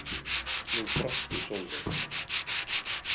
Nú brosti Sólveig.